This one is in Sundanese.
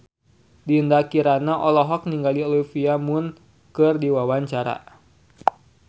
Dinda Kirana olohok ningali Olivia Munn keur diwawancara